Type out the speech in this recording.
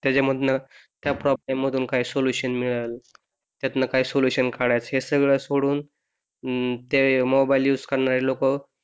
त्याच्यामधन त्या प्रॉब्लेम मधून काही सोलुशन मिळल यातन काय सोलुशन काढायच हे सगळं सोडून अं ते मोबाईल युझ करणारे लोक